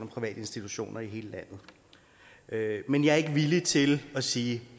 private institutioner i hele landet men jeg er ikke villig til at sige